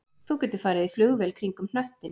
Þú getur farið í flugvél kringum hnöttinn